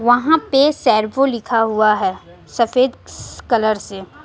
वहां पे सेर्वो लिखा हुआ है सफेद कलर से।